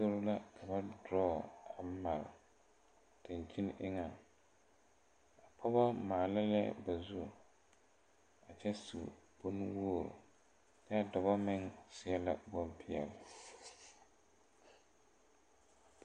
Fotorre la ba drɔɔ a mare daŋkyini eŋɛ a pɔgɔ maale la ba zu a kyɛ su kpare nuwogre kyaa dɔbɔ meŋ seɛ la bonpeɛle.